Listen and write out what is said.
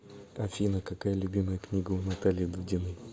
афина какая любимая книга у натальи дудиной